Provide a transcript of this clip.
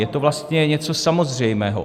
Je to vlastně něco samozřejmého.